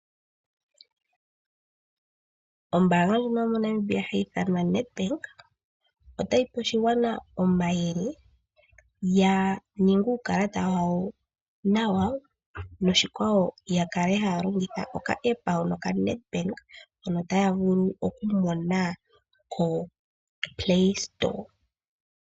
Ombaanga yomoNamibia yo Nedbank otayi pe oshigwana omayele ya ninge uukulata wawo nawa, no ya kale ha ya longitha uukalata wawo no ka aApp.